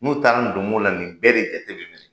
N'u taara n donmo la nin bɛɛ de jate bɛ minɛ.